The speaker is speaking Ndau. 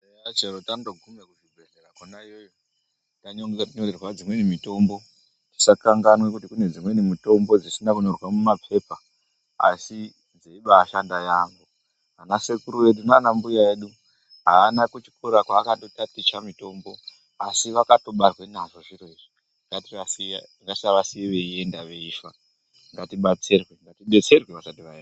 Chero tandogume kuzvibhedhkera kwona iyoyo kwetinoonyorerwa dzimweni mitombo tisakanganwa kuti kune dzimweni mitombo dzisina kunyorwa mumapepa asi dzeibaashanda yaamho .Ana sekuru edu naana mbuya edu haana kuchikora kwaakaita ticha mitombo asi vakatobarwa nazvo zviro izvona ngatisavasiya veienda veifa, ngatibetserwe vasati vaenda.